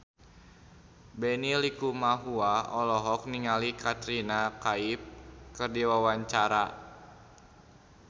Benny Likumahua olohok ningali Katrina Kaif keur diwawancara